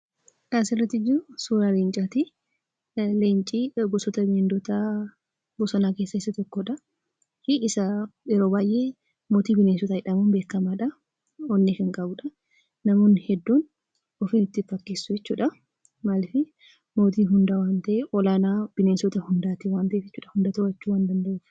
Kan asirra jiru, suuraa leencaatii. Leenci gosoota bineeldota bosonaa keessaa isa tokko dha. Yeroo baayyee mootii bineensotaa jedhamuun beekamaadha. Onnees kan qabuudha. Namoonni hedduun ofiin itti of fakkeessu jechuudha. Maaliifii, mootii hundaa, olaanaa bineensota hundaa waan ta'eef bineelda hunda to'achuu waan danda'uufi.